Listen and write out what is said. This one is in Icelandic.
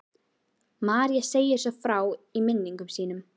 María segir svo frá í minningum sínum